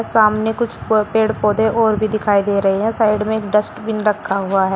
सामने कुछ पेड़ पौधे और भी दिखाई दे रहे है साइड में एक डस्टबीन रखा हुआ है।